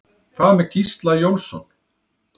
Hvað með Gísla Jónsson?